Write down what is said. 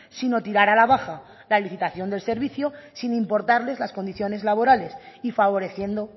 sino tirar a la baja la licitación del servicio sin importarles las condiciones laborales y favoreciendo